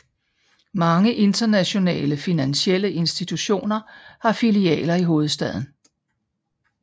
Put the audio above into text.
Mange internationale finansielle institutioner har filialer i hovedstaden